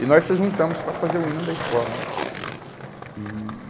E nós se juntamos para fazer o hino da escola, né. E